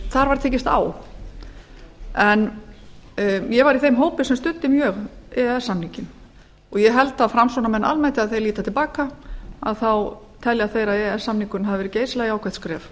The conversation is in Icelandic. þar var tekist á ég var í þeim hópi sem studdi mjög e e s samninginn ég held að framsóknarmenn almennt þegar þeir líta til baka þá telja þeir að e e s samningurinn hafi verið geysilega jákvætt skref